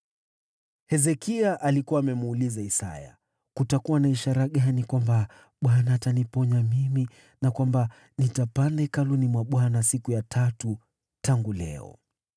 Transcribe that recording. Hezekia alikuwa amemuuliza Isaya, “Kutakuwa na ishara gani kwamba Bwana ataniponya mimi, na kwamba nitapanda kwenda Hekalu la Bwana siku ya tatu tangu leo?”